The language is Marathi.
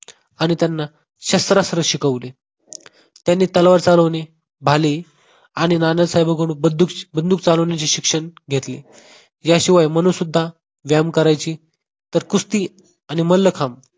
आणि त्यांना शस्त्रास्त्र शिकवले. त्यांनी तलवार चालवणे, भाले आणि नानासाहेबांकडून बंदूक बंदूक चालवण्याचे शिक्षण घेतले. याशिवाय मनू सुद्धा व्यायाम करायची. तर कुस्ती आणि मल्लखांब